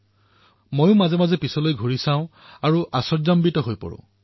মই কেতিয়াবা কেতিয়াবা পিছলৈ ঘূৰি চাওঁ আৰু তেতিয়া অধিক আচৰিত হৈ পৰো